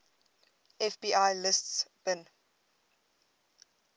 fbi lists bin